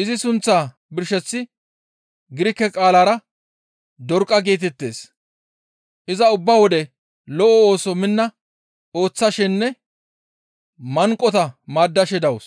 izi sunththaa birsheththi Girike qaalara, «Dorqa» geetettees; iza ubba wode lo7o ooso minna ooththashenne manqota maaddashe dawus.